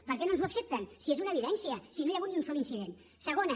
per què no ens ho accepten si és una evidència si no hi ha hagut ni un sol incident segona